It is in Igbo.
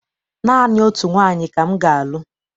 Naanị otu nwaanyị ka m ga-alụ.